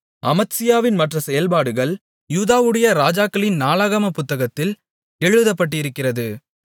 அமத்சியாவின் மற்ற செயல்பாடுகள் யூதாவுடைய ராஜாக்களின் நாளாகமப் புத்தகத்தில் எழுதப்பட்டிருக்கிறது